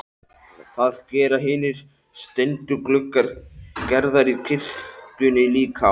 Það gera hinir steindu gluggar Gerðar í kirkjunni líka.